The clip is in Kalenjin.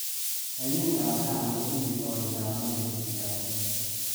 Aineetap tana kotinye kooindap mailisiek ata